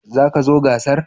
Za ka zo gasar?